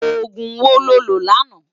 Ógún wó ló lö làná?